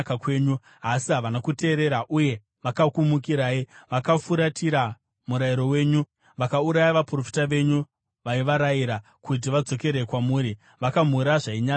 “Asi havana kuteerera uye vakakumukirai; vakafuratira murayiro wenyu. Vakauraya vaprofita venyu, vaivarayira kuti vadzokere kwamuri; vakamhura zvainyadza kwazvo.